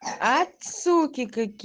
от суки каки